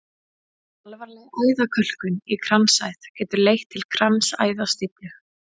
Alvarleg æðakölkun í kransæð getur leitt til kransæðastíflu.